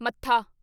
ਮੱਥਾ